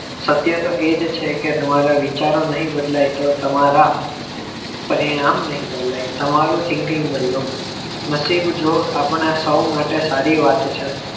સત્ય તો એ જ છે કે તમારા વિચાર નહીં બદલાય તો તમારા પરિણામ નહીં બદલાય તમારો thinking બદલો નસીબજોગ આપણા સૌ માટે સારી વાત છે